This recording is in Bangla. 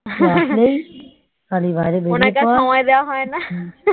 উনাকে আর সময় দেওয়া হয় না